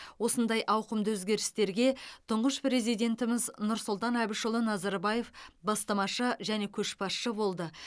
осындай ауқымды өзгерістерге тұңғыш президентіміз нұрсұлтан әбішұлы назарбаев бастамашы және көшбасшы болды